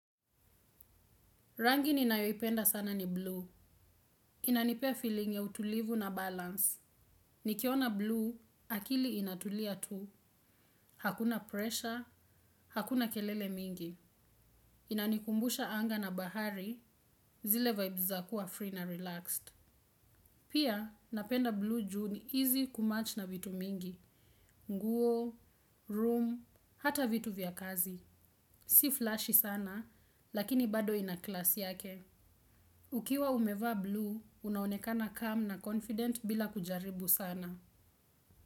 Rangi ninayoipenda sana ni bluu. Inanipea feeling ya utulivu na balance. Nikiona bluu, akili inatulia tu. Hakuna pressure, hakuna kelele mingi. Inanikumbusha anga na bahari, zile vibes kuwa free na relaxed. Pia, napenda bluu juu ni easy kumatch na vitu mingi. Nguo, room, hata vitu vya kazi. Si flashy sana, lakini bado ina class yake. Ukiwa umevaa bluu, unaonekana calm na confident bila kujaribu sana.